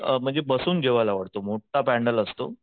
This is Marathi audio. अ म्हणजे बसून जेवायला वाढतो मोठ्ठा पॅनल असतो.